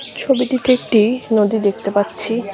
ছবিটিতে একটি নদী দেখতে পাচ্ছি।